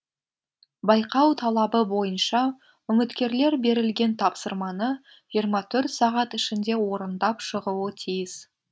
байқау талабы бойынша үміткерлер берілген тапсырманы жиырма төрт сағат ішінде орындап шығуы тиіс